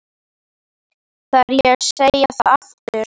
Þarf ég að segja það aftur?